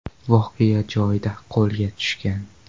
voqea joyida qo‘lga tushgan.